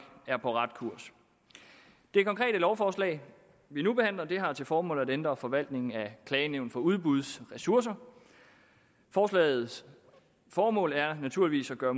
er på rette kurs det konkrete lovforslag vi nu behandler har til formål at ændre forvaltningen af klagenævnet for udbuds ressourcer forslagets formål er naturligvis at gøre